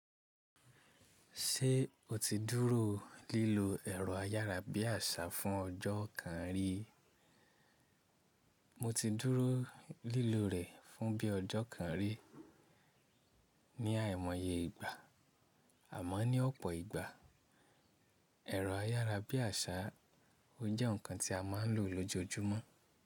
Ṣé o ti dúró lílo ẹ̀rọ ayárabíàṣá fún ọjọ́ kan rí? Mo ti dúró lílo rẹ̀ fún bí i ọjọ́ kan rí ní àìmọye ìgbà, àmọ́ ní ọ̀pọ̀ ìgbà, ẹ̀rọ ayárabíàṣá ò jẹ́ ǹkan tí a máa lò lójoojúmọ́.